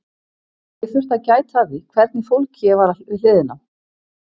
Og ég þurfti að gæta að því hvernig fólki ég var við hliðina á.